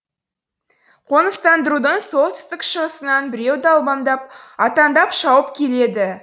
қоныстандырудың солтүстік шығысынан біреу далбаңдап аттандап шауып келеді